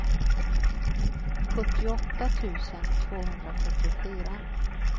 sjuttioåtta tusen tvåhundrafyrtiofyra